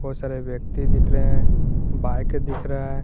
बहुत सारे व्यक्ति दिख रहे हैं बाइक दिख रहा है।